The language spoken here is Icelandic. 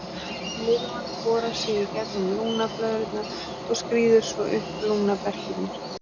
Lirfan borar sig í gegnum lungnablöðrurnar og skríður svo upp lungnaberkjurnar.